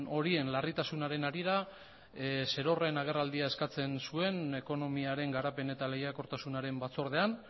horien larritasunaren harira zerorren agerraldia eskatzen zuen ekonomiaren garapen eta lehiakortasunaren batzordean